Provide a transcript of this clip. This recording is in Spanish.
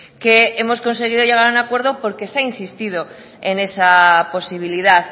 que hemos conseguido llegar a un acuerdo porque se ha insistido en esa posibilidad